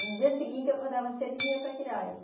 No dia seguinte, eu acordava cedo e vinha para Quirais.